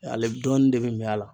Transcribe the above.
dɔɔnin de bi ɲa a la.